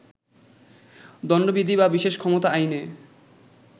দণ্ডবিধি বা বিশেষ ক্ষমতা আইনে